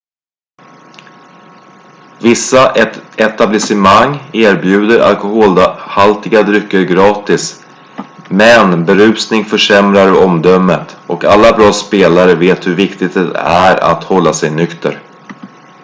vissa etablissemang erbjuder alkoholhaltiga drycker gratis men berusning försämrar omdömet och alla bra spelare vet hur viktigt det är att hålla sig nykter